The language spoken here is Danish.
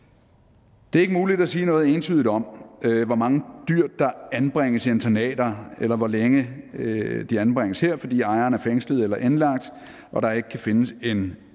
det er ikke muligt at sige noget entydigt om hvor mange dyr der anbringes i internater eller hvor længe de anbringes her fordi ejeren er fængslet eller indlagt og der ikke kan findes en